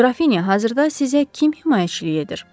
Qrafinya, hazırda sizə kim himayəçilik edir?